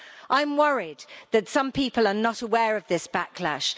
I'm worried that some people are not aware of this backlash.